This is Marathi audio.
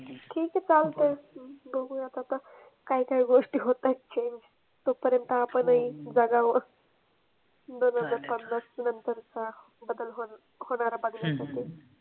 ठीक आहे चालतंय बघुयात आता. काय काय गोष्टी होतायत change. तो पर्यंत आपणही जगावं. दोन हजार पन्नास नंतरचा बदल म्हणून होणाऱ्या बदलासाठी.